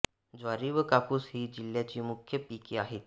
ज्वारी व कापूस ही जिल्ह्याची मुख्य पिके आहेत